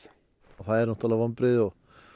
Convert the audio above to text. það eru náttúrulega vonbrigði